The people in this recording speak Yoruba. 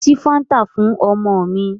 Ṣí Fáńtà fún ọmọ mi.